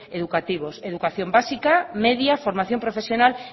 educativos educación básica media y formación profesional